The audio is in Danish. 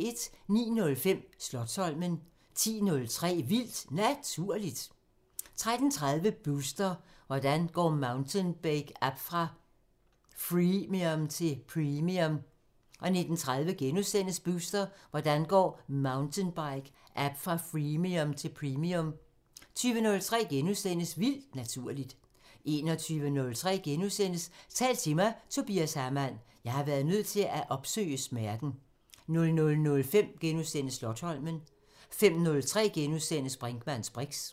09:05: Slotsholmen 10:03: Vildt Naturligt 13:30: Booster: Hvordan går mountainbike app fra freemium til premium? 19:30: Booster: Hvordan går mountainbike app fra freemium til premium? * 20:03: Vildt Naturligt * 21:03: Tal til mig – Tobias Hamann: "Jeg har været nødt til at opsøge smerten" 00:05: Slotsholmen * 05:03: Brinkmanns briks *